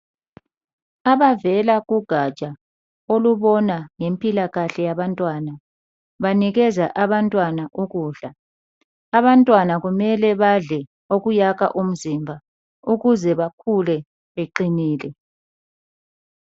Abavela kugatsha olubona ngempilakahle yabantwana banikeza abantwana ukudla. Abantwana kumele badle okuyakha umzimba ukuze bakhule beqinile.